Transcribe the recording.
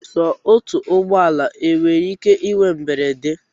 Sọ otu ụgbọala enwere ike inwe mberede?